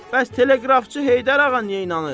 Bəs teleqrafçı Heydər ağa niyə inanır?